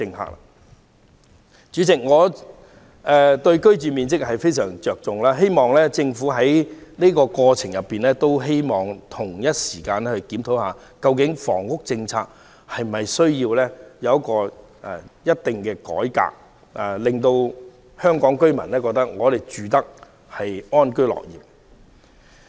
代理主席，我對居住面積非常着重，希望政府在這個過程中，同時檢討房屋政策是否需要改革，令香港居民可以安居樂業。